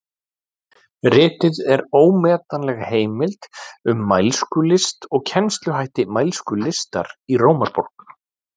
Ritið er ómetanleg heimild um mælskulist og kennsluhætti mælskulistar í Rómaborg.